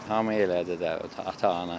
Hamı elədi də, ata-ana.